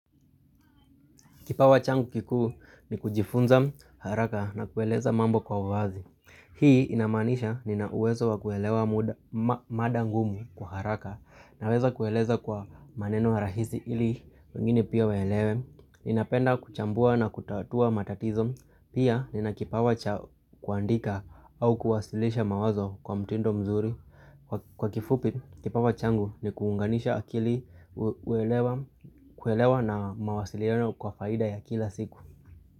Kipawa changu kikuu ni kujifunza haraka na kueleza mambo kwa uwazi. Hii inamaanisha nina uwezo wa kuelewa mada ngumu kwa haraka naweza kueleza kwa maneno rahisi ili wengine pia waelewe. Ninapenda kuchambua na kutatua matatizo. Pia nina kipawa cha kuandika au kuwasilisha mawazo kwa mtindo mzuri. Kwa kifupi, kipawa changu ni kuunganisha akili kuewelewa na mawasiliano kwa faida ya kila siku.